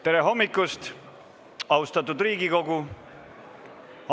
Tere hommikust, austatud Riigikogu!